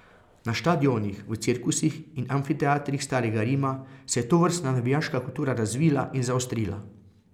Na štadionih, v cirkusih in amfiteatrih starega Rima se je tovrstna navijaška kultura razvila in zaostrila.